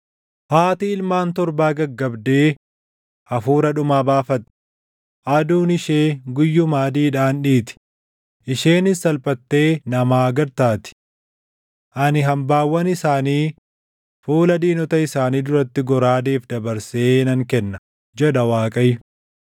Haati ilmaan torbaa gaggabdee hafuura dhumaa baafatti. Aduun ishee guyyuma adiidhaan dhiiti; isheenis salphattee namaa gad taati. Ani hambaawwan isaanii fuula diinota isaanii duratti goraadeef dabarsee nan kenna” jedha Waaqayyo.